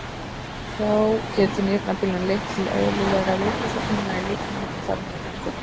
Þá getur nýrnabilun leitt til óeðlilegrar vökvasöfnunar í líkamanum og þar með í lungunum.